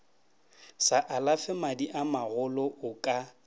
sa alafe madiamagolo o ka